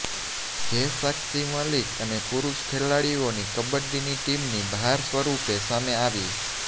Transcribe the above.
જે સાક્ષી મલિક અને પુરૂષ ખેલાડીઓની કબડ્ડીની ટીમની હાર સ્વરૂપે સામે આવી